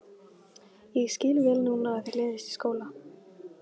Ég skil vel núna að þér leiðist í skóla.